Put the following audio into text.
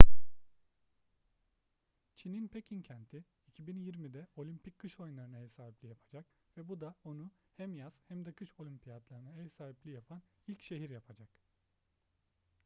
çin'in pekin kenti 2022'de olimpik kış oyunlarına ev sahipliği yapacak ve bu da onu hem yaz hem de kış olimpiyatlarına ev sahipliği yapan ilk şehir yapacak